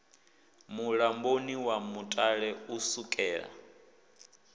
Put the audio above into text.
mulamboni wa mutale u sukela